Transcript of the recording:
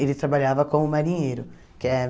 Ele trabalhava como marinheiro, que é...